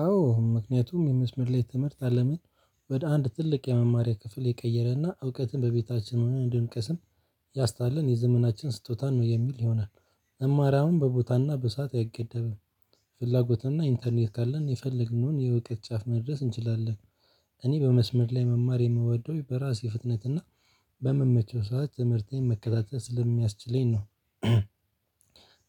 አዎ ምክንያቱም የመስመር ላይ ትምህርት አለምን ወደ አንድ ትልቅ የመማሪያ ክፍል የቀየረና እውቀትን በቤታችን ሆነን እንድንቀስም ያስታለን የዘመናችን ስጦታን ነው የሚል ይሆናል። መማር አሁን በቦታና በሰአት አይገደብም። ፍላጎትና ኢንተርኔት ካለን የፈለግነውን የውጤት ጫፍ መድረስ እንችላለን። እኔ በመስመር ላይ መማር የምወደው በራሴ ፍጥነትና በምመቸው ሰዓት ትምህርቴን መከታተል ስለሚያስችለኝ ነው።